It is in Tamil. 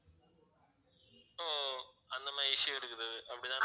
so அந்த மாதிரி issue இருக்குது அப்படி தான